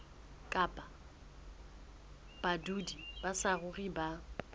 kapa badudi ba saruri ba